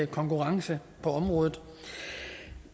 konkurrence på området